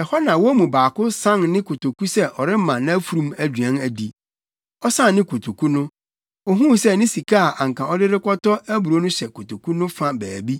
Ɛhɔ na wɔn mu baako san ne kotoku sɛ ɔrema nʼafurum aduan adi. Ɔsan ne kotoku no, ohuu sɛ ne sika a anka ɔde rekɔtɔ aburow no hyɛ kotoku no fa baabi.